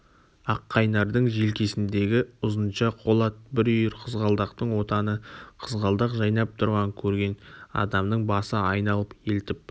аққайнардың желкесіндегі ұзынша қолат бір үйір қызғалдақтың отаны қызғалдақ жайнап тұрған көрген адамның басы айналып елтіп